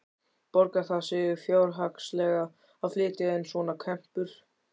Borgar það sig fjárhagslega að flytja inn svona kempur?